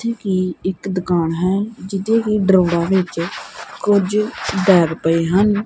ਅਹਿ ਇੱਕ ਦੁਕਾਨ ਹੈ ਜਿੰਥੇ ਕੀ ਡਰਾਉਰਾਂ ਵਿਚ ਕੁਝ ਬੈਗ ਪਏ ਹਨ।